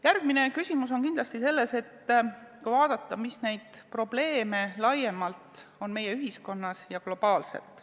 Järgmine küsimus on kindlasti selles, millised probleemid on laiemalt meie ühiskonnas ja globaalselt.